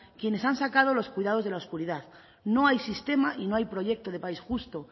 quienes han sacado los cuidados de la oscuridad no hay sistema y no hay proyecto de país justo